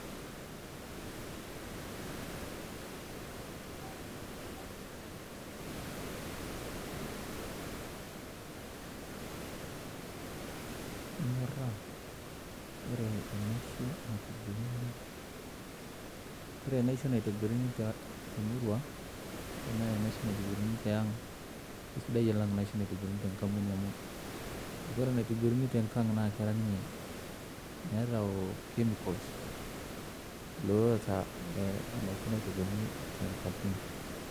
Inyoraa oree enaishoo natobiruni temurua ashua tiang kisidai olang enaishoo natobirunii tenkambuni amuu oree enetobirunii tenkang nemeetaa chemicals loota enaishoo nairobirunii tenkambuni